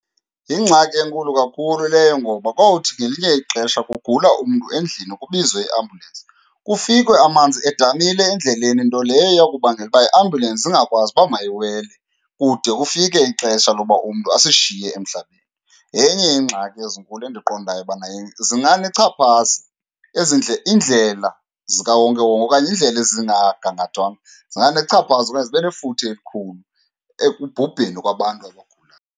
Yingxaki enkulu kakhulu leyo. Ngoba kothi ngelinye ixesha kugula umntu endlini kubizwe iambulensi, kufikwe amanzi edamile endleleni. Nto leyo eyakubangela uba iambulensi ingakwazi uba mayiwele, kude kufike ixesha loba umntu asishiye emhlabeni. Yenye yeengxaki ezinkulu endiqondayo ubana zinganechaphaza. Ezi , iindlela zikawonkewonke okanye iindlela ezingagangathwanga, zinganechaphaza okanye zibe nefuthe elikhulu ekubhubheni kwabantu abagulayo.